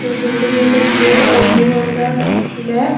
A buliding with a blue on the left.